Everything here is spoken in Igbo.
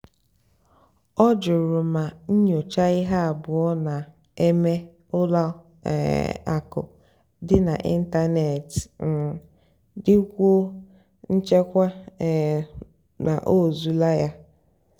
ọ́ jụrụ mà nnyòchá íhé àbúọ́ nà-èmékà ùlọ um àkụ́ dì n'ị́ntánètị́ um dìkwúó nchèbè um n'òzúlà yá.